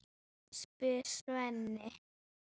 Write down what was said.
spyr Svenni.